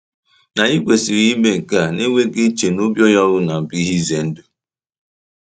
Ma, anyị kwesịrị ime nke a na-enweghị iche na obi onye ọbụla bụ ihe ize ndụ.